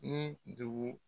Ni dugu